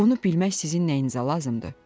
Bunu bilmək sizin nəyinizə lazımdır?